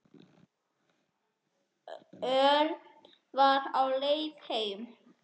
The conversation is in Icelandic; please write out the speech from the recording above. Örn var á leið heim.